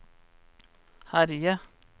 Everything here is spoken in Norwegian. herje